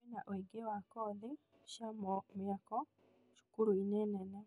Kwina ũingĩ wa kothi cia mĩako cukuru-inĩ nene